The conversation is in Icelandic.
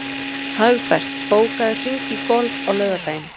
Hagbert, bókaðu hring í golf á laugardaginn.